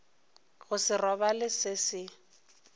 go se robale se se